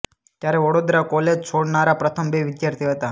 ત્યારે વડોદરા કૉલેજ છોડનારા પ્રથમ બે વિદ્યાર્થી હતા